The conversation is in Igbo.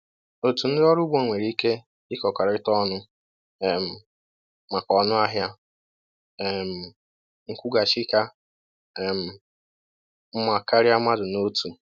Otu ndị ọrụ ugbo nwere ike ịkọrịta ọnụ um maka ọnụahịa um nkwụghachi ka um mma karịa mmadụ n’otu.